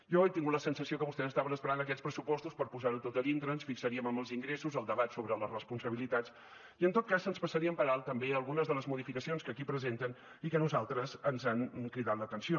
jo he tingut la sensació que vostès estaven esperant aquests pressupostos per posar ho tot a dintre ens fixaríem en els ingressos el debat sobre les responsabilitats i en tot cas ens passarien per alt també algunes de les modificacions que aquí presenten i que a nosaltres ens han cridat l’atenció